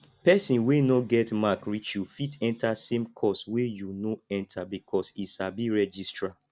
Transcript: person wey no get mark reach you fit enter same course wey you no enter because he sabi registrar